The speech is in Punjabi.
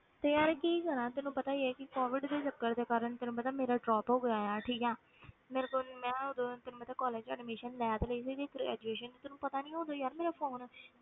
ਤੇ ਯਾਰ ਕੀ ਕਰਾਂ ਤੈਨੂੰ ਪਤਾ ਹੀ ਹੈ ਕਿ COVID ਦੇ ਚੱਕਰ ਦੇ ਕਾਰਨ ਤੈਨੂੰ ਪਤਾ ਮੇਰਾ drop ਹੋ ਗਿਆ ਹੈ ਠੀਕ ਹੈ ਮੇਰਾ ਤਾਂ ਮੈਂ ਉਦੋਂ ਤੈਨੂੰ ਪਤਾ college ਵਿੱਚ admission ਲੈ ਤੇ ਲਈ ਸੀਗੀ graduation ਵਿੱਚ, ਤੈਨੂੰ ਪਤਾ ਨੀ ਉਦੋਂ ਯਾਰ ਮੇਰਾ phone